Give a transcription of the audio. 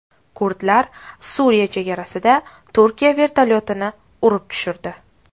Kurdlar Suriya chegarasida Turkiya vertolyotini urib tushirdi.